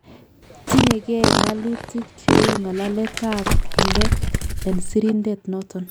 Tinyenge ngalalutik cheu ngalaletab ab let en sirisindet noton